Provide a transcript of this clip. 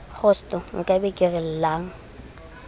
kgosto nkabe ke re llang